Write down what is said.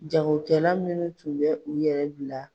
Jagokɛla minnu tun bɛ u yɛrɛ bila